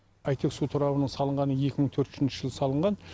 әйтек су торабының салынғаны екі мың төртінші жылы салынған